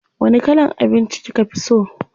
Wani kalan abinci kika fi so?